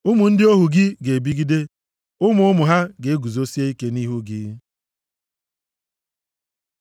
Ụmụ ndị ohu gị ga-ebigide; ụmụ ụmụ ha ga-eguzosie ike nʼihu gị.”